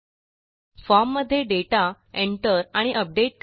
form मध्ये दाता Enter आणि अपडेट करणे